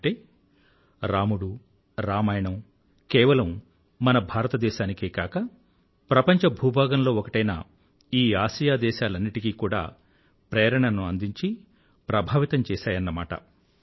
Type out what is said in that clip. అంటే రాముడు రామాయణం కేవలం మన భారతదేశానికే కాక ప్రపంచ భూభాగంలో ఒకటైన ఈ ఆసియా దేశాలన్నింటికీ కూడా ప్రేరణను అందించి ప్రభావితం చేసాయన్నమాట